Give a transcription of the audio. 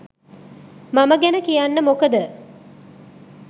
මම ගැන කියන්න මොකද